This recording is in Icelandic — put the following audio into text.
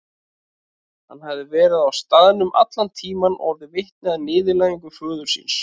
Hann hafði verið á staðnum allan tíman og orðið vitni að niðurlægingu föður síns.